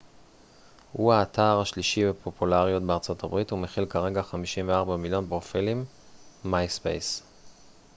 myspace הוא האתר השלישי בפופולריות בארצות הברית ומכיל כרגע 54 מיליון פרופילים